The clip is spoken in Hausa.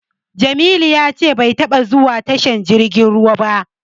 Jamilu ya ce bai taba zuwa tashar jirgin ruwa ba.